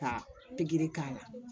Ka pikiri k'a la